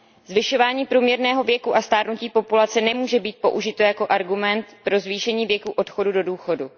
Zvyšování průměrného věku a stárnutí populace nemůže být použito jako argument pro zvýšení věku odchodu do důchodu.